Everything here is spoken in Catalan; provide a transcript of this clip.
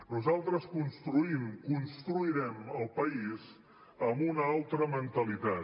nosaltres construïm construirem el país amb una altra mentalitat